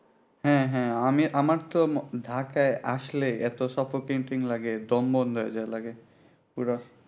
হ্যাঁ হ্যাঁ আমি আমার তো ঢাকায় আসলে এত suffocating লাগে দম বন্ধ হয়ে যায় লাগে পুরো